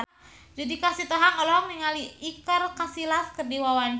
Judika Sitohang olohok ningali Iker Casillas keur diwawancara